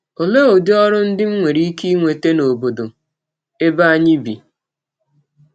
Ọlee ụdị ọrụ ndị m nwere ike inweta n’ọbọdọ ebe anyị bi?